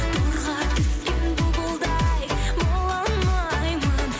торға түскен бұлбұлдай бола алмаймын